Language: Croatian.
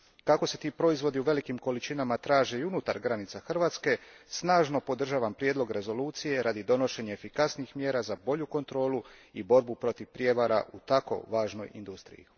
Kako se ti proizvodi u velikim količinama traže i unutar granica Hrvatske, snažno podržavam prijedlog rezolucije radi donošenja efikasnijih mjera za bolju kontrolu i borbu protiv prijevara u tako važnoj industriji.